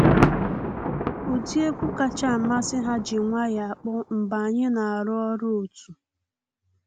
Ụdị egwu kacha amasị ha ji nwayọ akpọ mgbe anyị na arụ ọrụ otu.